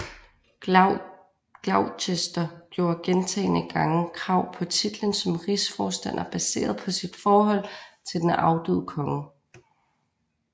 Gloucester gjorde gentagne gange krav på titlen som rigsforstander baseret på sit forhold til den afdøde konge